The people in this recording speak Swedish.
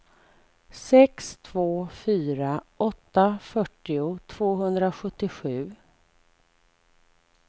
sex två fyra åtta fyrtio tvåhundrasjuttiosju